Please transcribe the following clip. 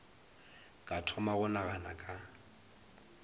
ka thoma go nagana ka